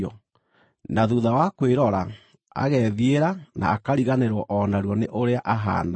na thuutha wa kwĩrora, agethiĩra na akariganĩrwo o narua nĩ ũrĩa ahaana.